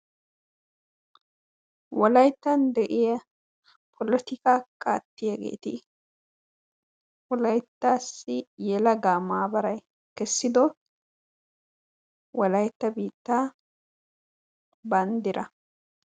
Wolayttan de'iya polotikaa qaattiyageeti wolayttassi yelagaa maabaraa kessido wolaytta biittaa banddiraa.